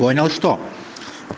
понял что